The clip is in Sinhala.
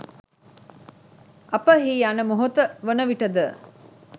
අප එහි යන මොහොත වන විටද